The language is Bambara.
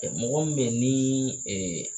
Mɔgɔ min bɛ yen ni